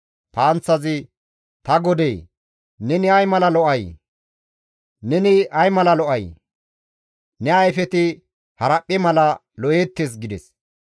«Ta godee! Neni ay mala lo7ay! Neni ay mala lo7ay! Ne ayfeti haraphphe mala lo7eettes» gides.